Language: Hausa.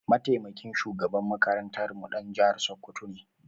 Mataimakin shugaban makarantarmu ɗan jihar Sokoto ne.